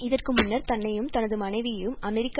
இதற்கு முன்னர் தன்னையும் தனது மனைவியையும் அமெரிக்க